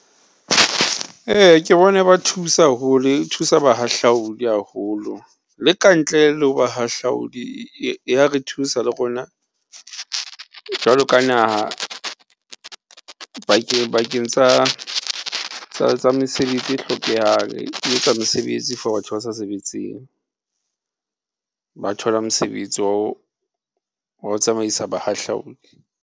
Eya, ke bona e ba thusa haholo, e thusa bahahlaodi haholo le kantle le ho ba hahlaodi ya re thusa le rona jwalo ka naha, bakeng tsa mesebetsi e hlokehang, e etsa mesebetsi for batho ba sa sebetseng. Ba thola mosebetsi wa ho tsamaisa bahahlaodi.